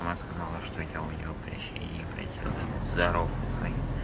она сказала что я у нее прощения просила здоров